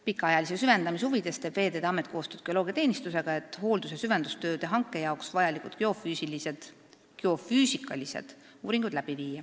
Pikaajalise süvendamise huvides teeb Veeteede Amet koostööd geoloogiateenistusega, et teha hooldus- ja süvendustööde hanke jaoks vajalikud geofüüsikalised uuringud.